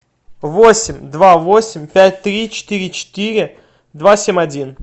восемь два восемь пять три четыре четыре два семь один